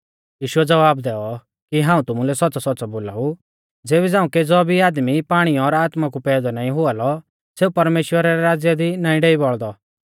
यीशुऐ ज़वाब दैऔ कि हाऊं तुमुलै सौच़्च़ौसौच़्च़ौ बोलाऊ ज़ेबी झ़ांऊ केज़ौ भी आदमी पाणी और आत्मा कु पैदौ नाईं हुआ लौ सेऊ परमेश्‍वरा रै राज़्य दी नाईं डेई बौल़दौ